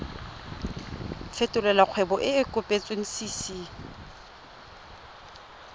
fetolela kgwebo e e kopetswengcc